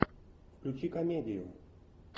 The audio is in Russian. включи комедию